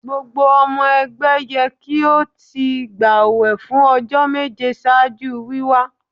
Gbogbo ọmọ ẹgbẹ yẹ ki o ti gbawẹ fun ọjọ meje ṣaaju wiwa